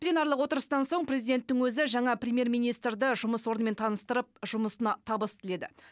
пленарлық отырыстан соң президенттің өзі жаңа премьер министрді жұмыс орнымен таныстырып жұмысына табыс тіледі